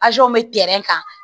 bɛ kan